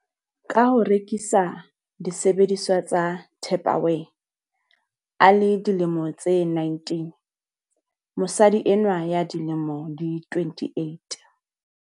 Ka ho rekisa disebediswa tsa Tupperware a le dilemo tse 19, mosadi enwa ya dilemo di 28.